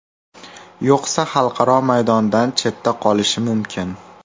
Yo‘qsa, xalqaro maydondan chetda qolishi mumkin.